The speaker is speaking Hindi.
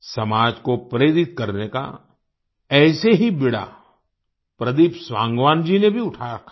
समाज को प्रेरित करने का ऐसे ही बीड़ा प्रदीप सांगवान जी ने भी उठा रखा है